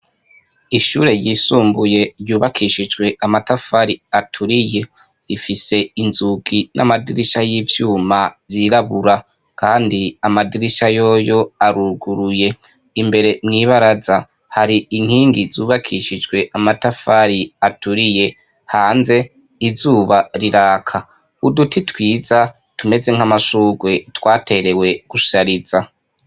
Ishure ryisumbuye ryubakishishwe amatafari aturiye ifise inzugi namadirisha ivyuma vyirabura kandi amadirisha yoyo aruguruye imbere mwibaraza hari inkigi zubakishijwe amatafari aturiye hanze izuba riraka uduti twiza tumeze nkamashurwe twaterewe gusharizwa